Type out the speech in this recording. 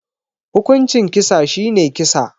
Hukuncin kisa shine kisa